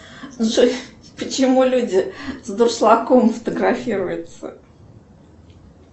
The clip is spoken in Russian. джой почему люди с дуршлагом фотографируются